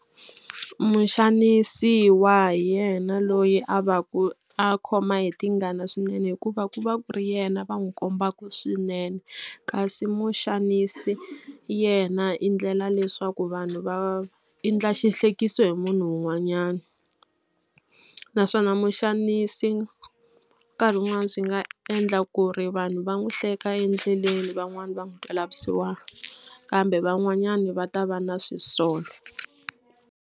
Muxanisiwa hi yena loyi a va ku a khoma hi tingana swinene hikuva ku va ku ri yena va n'wi kombaka swinene kasi muxanisi yena i endlela leswaku vanhu va i endla xihlekisa hi munhu un'wanyana naswona muxanisi nkarhi un'wana swi nga endla ku ri vanhu va n'wi hleka endleleni van'wani va n'wi twela vusiwana kambe van'wanyana va ta va na swisolo.